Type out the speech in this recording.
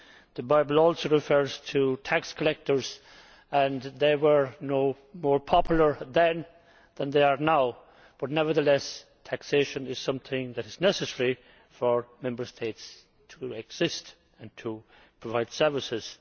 The Bible also refers to tax collectors and they were no more popular then than they are now, but nevertheless taxation is something that is necessary for Member States to exist and provide services.